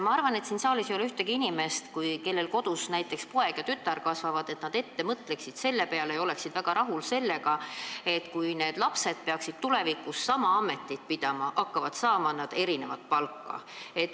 Ma arvan, et siin saalis ei ole ühtegi inimest, kellel kodus kasvavad näiteks poeg ja tütar ja kes oleksid väga rahul sellega, et kui need lapsed peaksid tulevikus sama ametit pidama, siis nad hakkaksid saama erinevat palka.